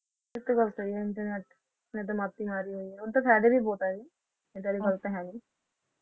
ਇੱਕ ਗੱਲ ਸਹੀ ਹੈ internet ਹੁਣ ਤਾ ਫਾਇਦੇ ਵੀ ਬਹੁਤ ਹੈ ਇਹਦੇ ਗੱਲ ਤਾ ਹੈ ਨੀ।